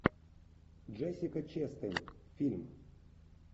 джессика честейн фильм